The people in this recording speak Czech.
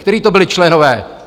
Kteří to byli členové?